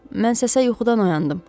Mən səsə yuxudan oyandım.